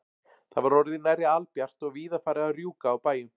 Það var orðið nærri albjart og víða farið að rjúka á bæjum.